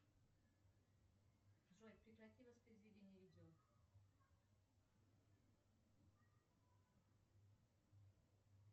джой прекрати воспроизведение видео